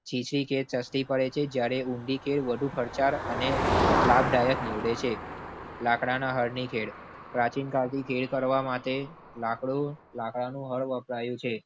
ચીચી ખેડ સસ્તી પડે છે જયારે ઊંડી ખેડ વધુ ખર્ચાળ અને લાભદાયક નીવડે છે. લાકડાના હરની ખેડ. પ્રાચીન કાળ થી ખેડ કરવા માટે લાકડું લાકડા નું હળ વપરાયું છે.